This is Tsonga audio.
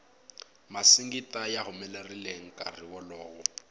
masingita ya humelerile nkarhi wolowo